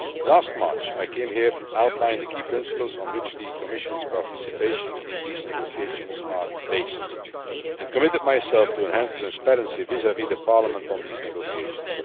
Last March, I came here to outline the key principles on which the Commission's participation in these negotiations is based, and committed myself to enhance transparency vis vis Parliament on these negotiations.